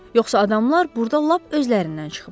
Yoxsa adamlar burda lap özlərindən çıxıblar.